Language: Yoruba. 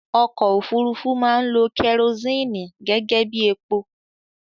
Ọkọ òfúrufú máa ń lo kerosini gẹ́gẹ́bí epo